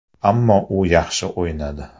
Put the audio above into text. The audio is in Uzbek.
Ammo u yaxshi o‘ynadi.